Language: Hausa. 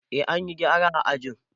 Eh, an yi gyara a ajin.